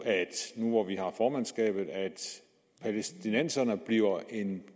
nu hvor vi har formandskabet at palæstinenserne bliver en